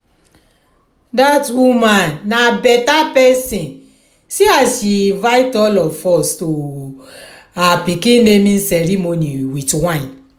dat woman na beta person see as she invite all of us to her pikin naming ceremony with wine